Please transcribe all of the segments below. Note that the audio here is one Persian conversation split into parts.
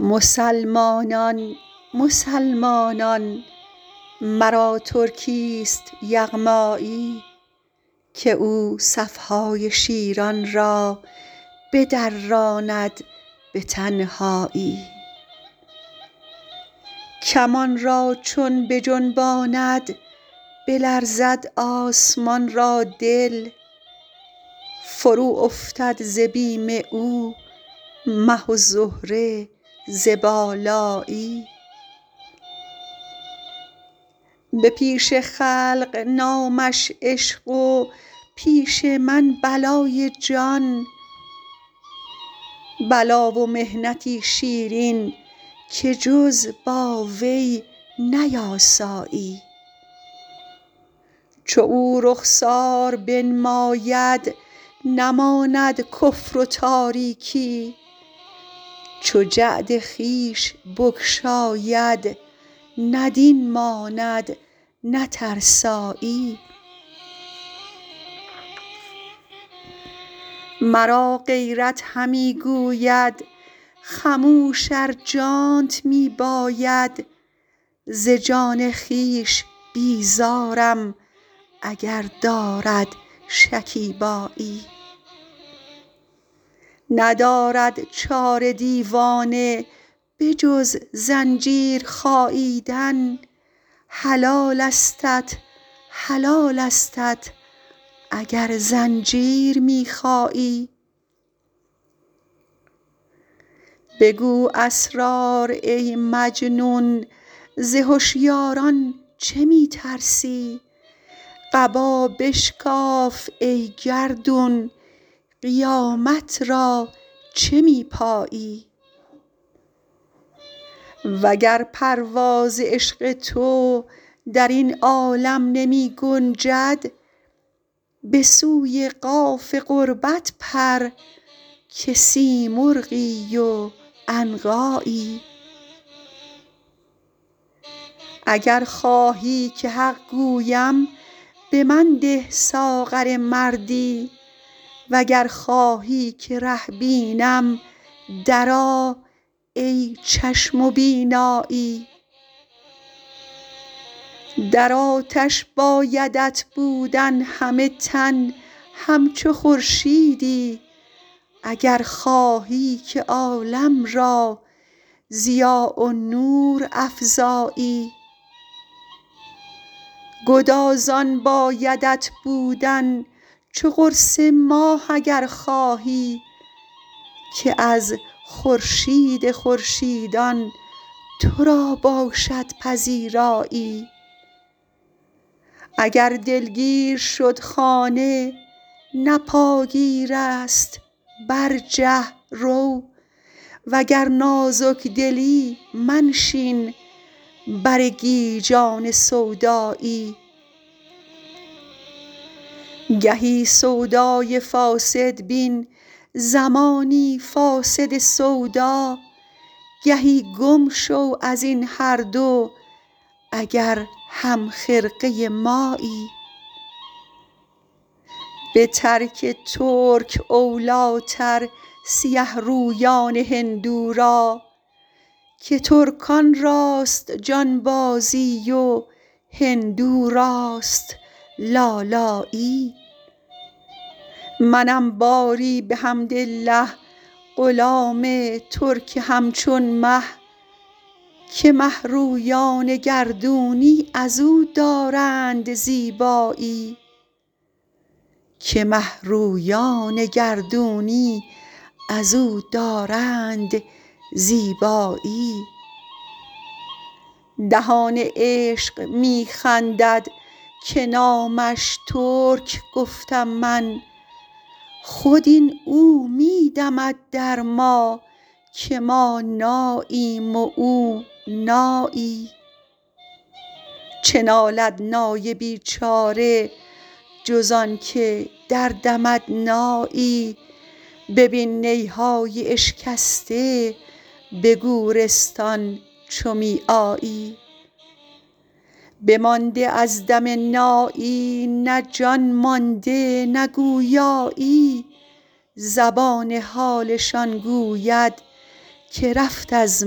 مسلمانان مسلمانان مرا ترکی است یغمایی که او صف های شیران را بدراند به تنهایی کمان را چون بجنباند بلرزد آسمان را دل فروافتد ز بیم او مه و زهره ز بالایی به پیش خلق نامش عشق و پیش من بلای جان بلا و محنتی شیرین که جز با وی نیاسایی چو او رخسار بنماید نماند کفر و تاریکی چو جعد خویش بگشاید نه دین ماند نه ترسایی مرا غیرت همی گوید خموش ار جانت می باید ز جان خویش بیزارم اگر دارد شکیبایی ندارد چاره دیوانه به جز زنجیر خاییدن حلالستت حلالستت اگر زنجیر می خایی بگو اسرار ای مجنون ز هشیاران چه می ترسی قبا بشکاف ای گردون قیامت را چه می پایی وگر پرواز عشق تو در این عالم نمی گنجد به سوی قاف قربت پر که سیمرغی و عنقایی اگر خواهی که حق گویم به من ده ساغر مردی وگر خواهی که ره بینم درآ ای چشم و بینایی در آتش بایدت بودن همه تن همچو خورشیدی اگر خواهی که عالم را ضیا و نور افزایی گدازان بایدت بودن چو قرص ماه اگر خواهی که از خورشید خورشیدان تو را باشد پذیرایی اگر دلگیر شد خانه نه پاگیر است برجه رو وگر نازک دلی منشین بر گیجان سودایی گهی سودای فاسد بین زمانی فاسد سودا گهی گم شو از این هر دو اگر همخرقه مایی به ترک ترک اولیتر سیه رویان هندو را که ترکان راست جانبازی و هندو راست لالایی منم باری بحمدالله غلام ترک همچون مه که مه رویان گردونی از او دارند زیبایی دهان عشق می خندد که نامش ترک گفتم من خود این او می دمد در ما که ما ناییم و او نایی چه نالد نای بیچاره جز آنک دردمد نایی ببین نی های اشکسته به گورستان چو می آیی بمانده از دم نایی نه جان مانده نه گویایی زبان حالشان گوید که رفت از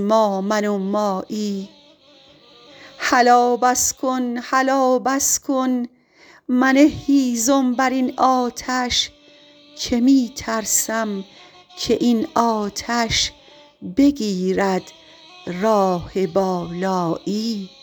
ما من و مایی هلا بس کن هلا بس کن منه هیزم بر این آتش که می ترسم که این آتش بگیرد راه بالایی